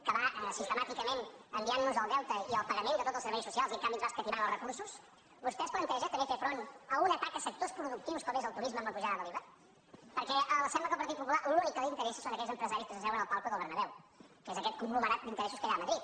que va sistemàticament enviant nos el deute i el pagament de tots els serveis socials i en canvi ens va escatimant els recursos vostè es planteja també fer front a un atac a sectors productius com és el turisme amb la pujada de l’iva perquè sembla que al partit popular l’únic que li interessa són aquells empresaris que s’asseuen al palco del bernabéu que és aquest conglomerat d’interessos que hi ha a madrid